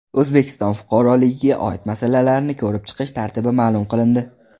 O‘zbekiston fuqaroligiga oid masalalarni ko‘rib chiqish tartibi ma’lum qilindi.